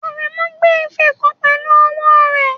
Aremu gbé ife kan pẹ̀lú ọwọ́ rẹ̀.